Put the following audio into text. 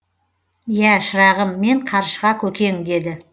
иә шырағым мен қаршыға көкең деді